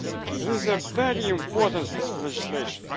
This is a very important piece of legislation.